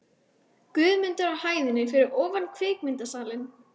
Guðmundar á hæðinni fyrir ofan kvikmyndasalinn.